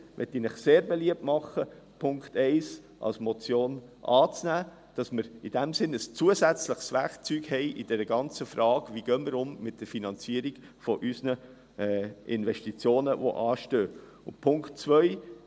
In diesem Sinn möchte ich Ihnen sehr beliebt machen, den Punkt 1 als Motion anzunehmen, sodass wir in der ganzen Frage, wie wir mit der Finanzierung unserer anstehenden Investitionen umgehen, ein zusätzliches Werkzeug haben.